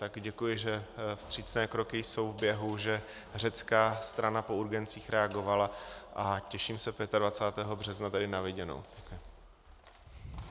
Tak děkuji, že vstřícné kroky jsou v běhu, že řecká strana po urgencích reagovala, a těším se 25. března tady na viděnou.